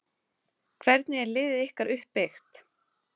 Hvernig er liðið ykkar uppbyggt?